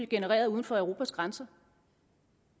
genereret uden for europas grænser